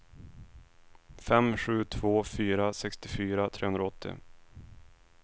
fem sju två fyra sextiofyra trehundraåttio